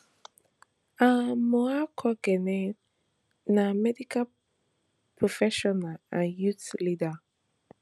amoakohene na medical professional and youth leader